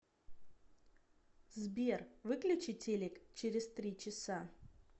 сбер выключи телек через три часа